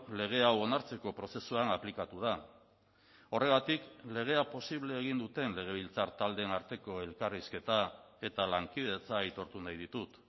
lege hau onartzeko prozesuan aplikatu da horregatik legea posible egin duten legebiltzar taldeen arteko elkarrizketa eta lankidetza aitortu nahi ditut